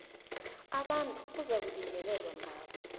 abantu ekuzakulingelelwa ngabo